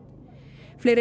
fleiri